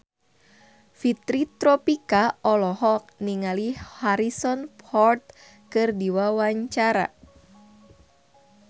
Fitri Tropika olohok ningali Harrison Ford keur diwawancara